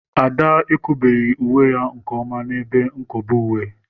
Ada ekobeghị uwe ya nke ọma n'ebe nkobe uwe.